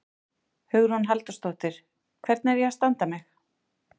Hugrún Halldórsdóttir: Hvernig er ég að standa mig?